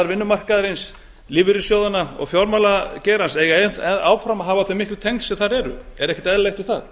vinnumarkaðarins lífeyrissjóðanna og fjármálageirans eigi áfram að hafa þau miklu tengsl sem þar eru er ekkert óeðlilegt við það